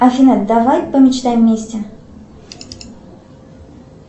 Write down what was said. афина давай помечтаем вместе